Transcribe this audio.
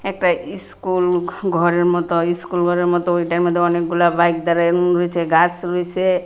একটা ইস্কুল ঘ-ঘরের মতো স্কুল ঘরের মতো ওইটার মধ্যে অনেকগুলা বাইক দাঁড়ায় উম রয়েছে গাছ রইছে।